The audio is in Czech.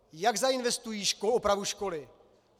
Jak zainvestují opravu školy?